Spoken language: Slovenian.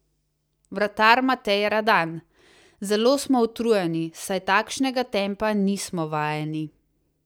Vratar Matej Radan: "Zelo smo utrujeni, saj takšnega tempa nismo vajeni.